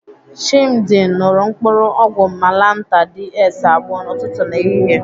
Chimdi ṅụrụ mkpụrụ ọgwụ malantar DS abụọ n'ụtụtụ na ehihie.